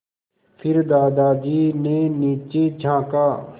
फिर दादाजी ने नीचे झाँका